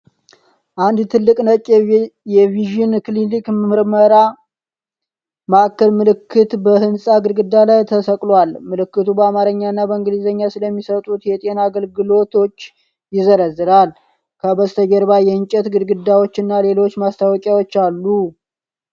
አንድ ትልቅ ነጭ የቪዥን ክሊኒክና ምርመራ ማዕከል ምልክት በህንጻ ግድግዳ ላይ ተሰቅሏል። ምልክቱ በአማርኛና በእንግሊዝኛ ስለሚሰጡት የጤና አገልግሎቶች ይዘረዝራል። ከበስተጀርባ የእንጨት ግድግዳዎች እና ሌሎች ማስታወቂያዎች አሉ።